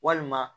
Walima